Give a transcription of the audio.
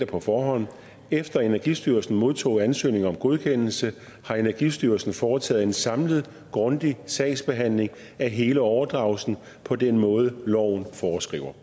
på forhånd efter at energistyrelsen modtog ansøgningen om godkendelse har energistyrelsen foretaget en samlet grundig sagsbehandling af hele overdragelsen på den måde loven foreskriver